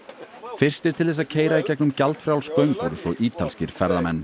fyrstir til þess að keyra í gegnum gjaldfrjáls göng voru svo ítalskir ferðamenn